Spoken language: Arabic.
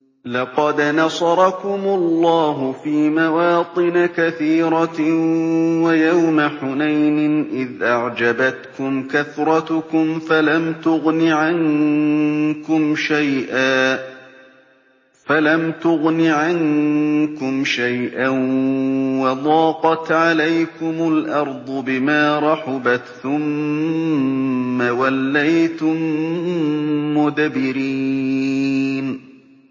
لَقَدْ نَصَرَكُمُ اللَّهُ فِي مَوَاطِنَ كَثِيرَةٍ ۙ وَيَوْمَ حُنَيْنٍ ۙ إِذْ أَعْجَبَتْكُمْ كَثْرَتُكُمْ فَلَمْ تُغْنِ عَنكُمْ شَيْئًا وَضَاقَتْ عَلَيْكُمُ الْأَرْضُ بِمَا رَحُبَتْ ثُمَّ وَلَّيْتُم مُّدْبِرِينَ